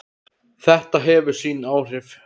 Þetta hefur sín áhrif.